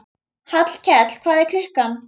Hallkell, hvað er klukkan?